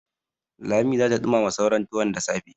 Lami za ta ɗumama sauran tuwon da safe.